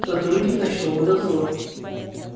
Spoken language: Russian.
сотрудник ночного дозора